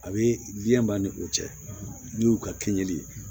A bɛ diɲɛ ban ni o cɛ n'u y'u ka kiɲɛli ye